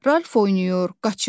Ralf oynayır, qaçır.